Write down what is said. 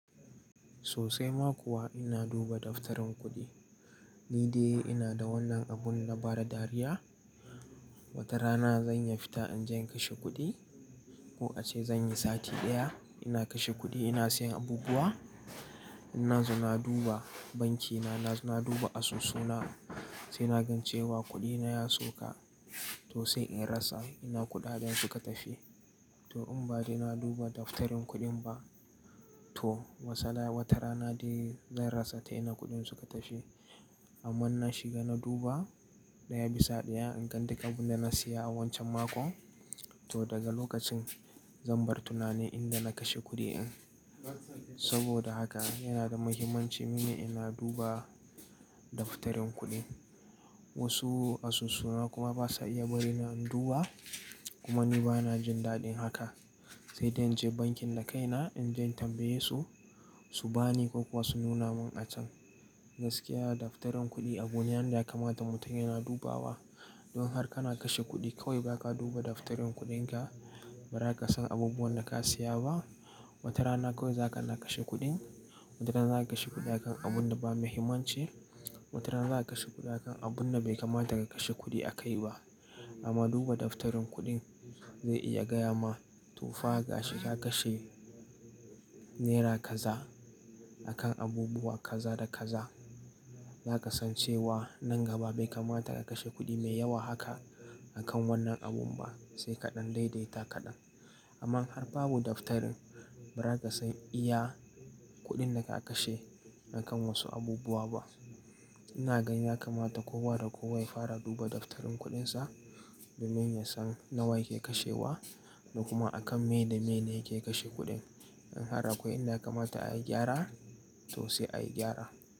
Sosai mako wa ina duba daftarin kuɗi. Ni dai ina da wannan abun na bada dariya. Wata rana zan yiya fita in je in kashe kuɗi ko a ce zan yi sati ɗaya ina kashe kuɗi ina siyan abubuwa. Inna zo na duba banki na, na zo na duba asusu na sai nagan cewa kuɗi na ya sauka to sai in rasa ina kuɗaɗen suka tafi. To in ba dai na duba daftarin kuɗin ba to watarana dai zan rasa ta ina kuɗin suka tafi ba amma in na shiga na duba ɗaya bisa ɗaya in gan duk abun da na siya a wancan makon to daga lokacin zan bar tunani inda na kashe kuɗi in. Saboda haka yana da muhimmanci mini ina duba daftarin kuɗi. Wasu asusu na kuma basa iya bari na in duba kuma ni bana jin daɗin haka. Sai dai in je bankin da kai na in je in tambaye su, su bani ko kuwa su nuna mun a can. Gaskiya daftarin kuɗi abu ne wan da ya kamata mutum yana dubawa. Don har kana kashe kuɗi kawai ba ka duba daftarin kuɗin ka ba za ka san abubuwan da ka siya ba. Wata rana kawai za kana kashe kuɗin. Wata rana za ka kashe kuɗi a kan abun da ba muhimmanci. Wata rana za ka kashe kuɗi a kan abun da bai kamata ka kashe kuɗi a kai ba. Amma duba daftarin kuɗin zai iya gaya ma to fa ga shi ka kashe naira kaza a kan abubuwa kaza da kaza. Za ka san cewa nan gaba bai kamata ka kashe kuɗi mai yawa haka a kan wannan abun ba sai kaɗan daidaita kaɗan. Amma in har babu daftarin ba za ka san iya kuɗin da ka kashe a kan wasu abubuwa ba. Ina gan ya kamata kowa da kowa ya fara duba daftarin kuɗin sa domin ya san nawa yake kashe wa da kuma a kan mene mene yake kashe kuɗin. In har akwai inda ya kamata ai gyara to sai ai gyara.